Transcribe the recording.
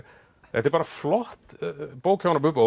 þetta er bara flott bók hjá honum Bubba og